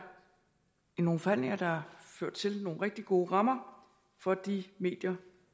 nogle forhandlinger der har ført til nogle rigtig gode rammer for de medier